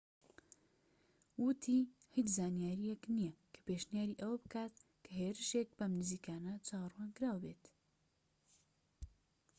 وتی هیچ زانیاریەک نیە کە پێشنیاری ئەوە بکات کە هێرشێک بەم نزیکانە چاوەڕوانکراو بێت